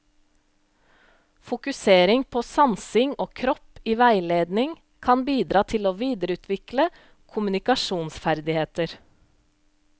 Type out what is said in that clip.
Fokusering på sansing og kropp i veiledning kan bidra til å videreutvikle kommunikasjonsferdigheter.